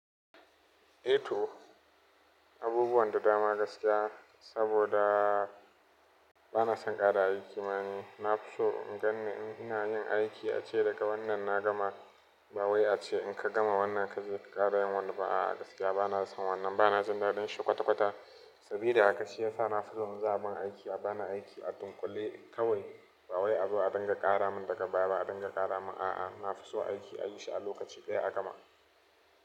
Eh to abubuwan da dama gaskiya saboda bana son ƙara aiki ma ni. Na fi so in ganni in ina yin aiki a ce daga wannan na gama. Ba wai a ce in ka gama wannan ka je ka ƙara yin wani ba a'a gaskiya bana son wannan. Bana jin daɗin shi kwata-kwata saboda haka shi yasa na fi so in zama ban aiki. A bani aiki a dunkule kawai ba wai abu a ɗinga ƙara mun daga baya a ɗinga ƙara mun a'a, na fi so aiki a yi shi a lokaci ɗaya a gama.